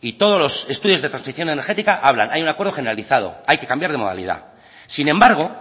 y todos los estudios de transición energética hablan hay un acuerdo generalizado hay que cambiar de modalidad sin embargo